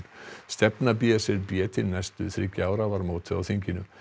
stefna b s r b til næstu þriggja ára var mótuð á þinginu